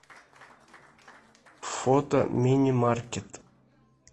фото мини маркет